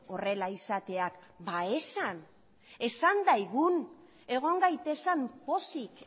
horrela izatea esan dezagun egon gaitezen pozik